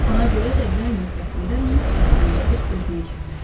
Ona görə də yay müddətində mütləq dincəlib özünə gəlməlidir.